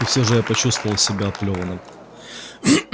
и все же я почувствовал себя оплёванным